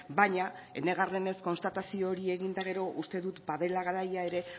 baina enegarrenez konstatazio horiek egin eta gero uste dut badela garaia ere